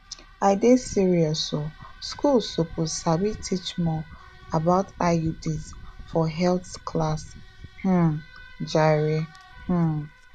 i dey serious oh schools suppose sabi teach more about iuds for health class um jare um